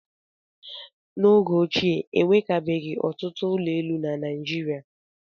N'oge ochie, e nwekabeghị ọtụtụ ụlọ elu na Naịjirịa.